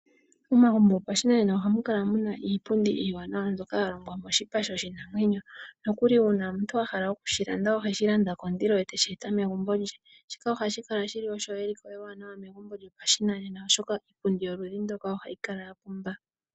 Momagumbo gopashinanena ohamu kala muna iipundi iiwanawa mbyoka ya longwa moshipa sho shinamwenyo nokuli uuna omuntu a hala okudhi landa oheshi landa kondilo ye teshi eta megumbo lye. Shika ohashi kala shili olyo eliko ewanawa megumbo lyopashinanena oshoka iipundi yoludhi mbika ohayi kala ya pumba.